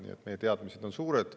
Nii et meie teadmised on suured.